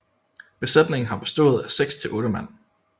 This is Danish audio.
Besætningen har bestået af seks til otte mand